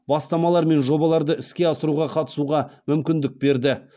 бастамалар мен жобаларды іске асыруға қатысуға мүмкіндік берді